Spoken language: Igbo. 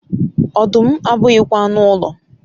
ọdụm abụghịkwa anụ ụlọ